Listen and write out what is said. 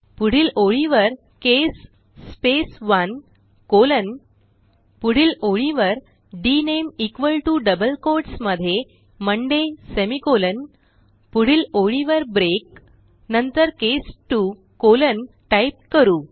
पुढील ओळीवर case space 1 colon पुढील ओळीवर डीएनएमई इक्वॉल टीओ डबल कोट्स मध्ये मोंडे सेमिकोलॉन पुढील ओळीवर ब्रेक नंतर केस 2 कॉलन टाईप करू